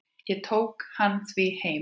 Ég tók hann því heim.